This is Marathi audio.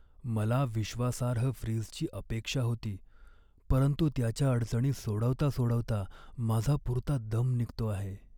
मला विश्वासार्ह फ्रीजची अपेक्षा होती, परंतु त्याच्या अडचणी सोडवता सोडवता माझा पुरता दम निघतो आहे.